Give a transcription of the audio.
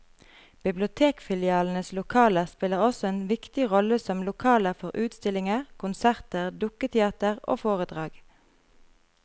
Bibliotekfilialenes lokaler spiller også en viktig rolle som lokaler for utstillinger, konserter, dukketeater og foredrag.